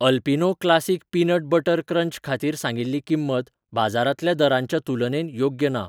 Alpino classic peanut butter crunch खातीर सांगिल्ली किंमत बाजारांतल्या दरांच्या तुलनेत योग्य ना.